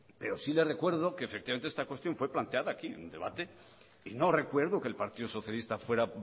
pero sí le recuerdo que efectivamente esta cuestión fue planteada aquí en debate y no recuerdo que el partido socialista fuera